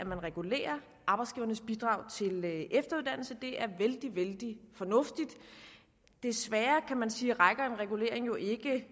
man regulerer arbejdsgivernes bidrag til efteruddannelse det er vældig vældig fornuftigt desværre kan man sige rækker en regulering jo ikke